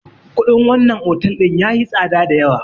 Kuɗin wannan otal ɗin yayi tsada dayawa.